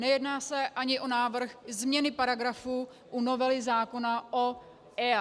Nejedná se ani o návrh změny paragrafu u novely zákona o EIA.